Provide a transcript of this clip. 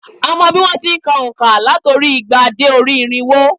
A mọ̀ bí wón ti n ka ònká láti orí i igba dé orí i irínwó